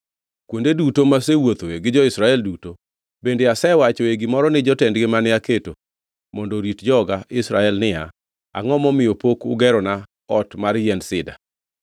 Kuonde duto masewuothoe gi jo-Israel duto, bende asewachoe gimoro ni jotendgi mane aketo mondo orit joga Israel niya, “Angʼo momiyo pok ugerona ot mar yiend sida?” ’